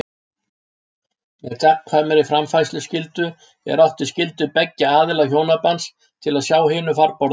Með gagnkvæmri framfærsluskyldu er átt við skyldu beggja aðila hjónabands til að sjá hinu farborða.